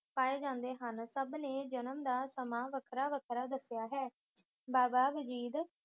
ਪਾਏ ਜਾਂਦੇ ਹਨ। ਸਭ ਨੇ ਜਨਮ ਦਾ ਸਮਾਂ ਵੱਖਰਾ-ਵੱਖਰਾ ਦੱਸਿਆ ਹੈ। ਬਾਬਾ ਵਜੀਦ